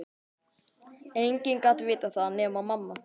Enginn gat vitað það nema mamma.